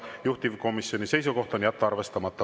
Juhtivkomisjoni seisukoht on jätta arvestamata.